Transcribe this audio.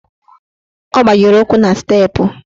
Ọ gbajiri ụkwụ na steepụ.